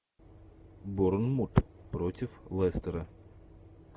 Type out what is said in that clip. борнмут против лестера